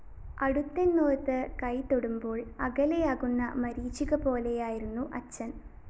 അടുത്തെന്നോര്‍ത്തു കൈതൊടുമ്പോള്‍ അകലെയാകുന്ന മരീചികപോലെയായിരുന്നു അച്ഛന്‍